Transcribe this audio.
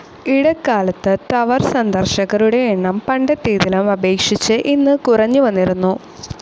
ഇടക്കാലത്ത് ടവർ സന്ദർശകരുടെ എണ്ണം പണ്ടത്തേതിലും അപേക്ഷിച്ച് ഇന്ന് കുറഞ്ഞുവന്നിരുന്നു.